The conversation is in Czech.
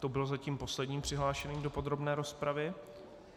To byl zatím poslední přihlášený do podrobné rozpravy.